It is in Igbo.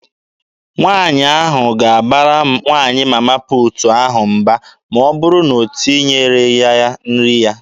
Nwaanyị ahụ ga-abara nwaanyị Mama puutu ahụ mba ma ọ bụrụ na o tinyereghị ya nri ya.